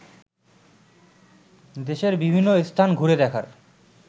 দেশের বিভিন্ন স্থান ঘুরে দেখার